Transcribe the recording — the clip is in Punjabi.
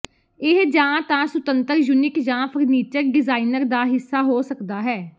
ਇਹ ਜਾਂ ਤਾਂ ਸੁਤੰਤਰ ਯੂਨਿਟ ਜਾਂ ਫਰਨੀਚਰ ਡਿਜ਼ਾਇਨਰ ਦਾ ਹਿੱਸਾ ਹੋ ਸਕਦਾ ਹੈ